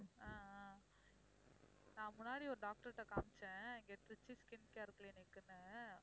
ஆஹ் ஆஹ் நான் முன்னாடி ஒரு doctor ட்ட காமிச்சேன் இங்கே திருச்சி ஸ்கின் கேர் கிளினிக்னு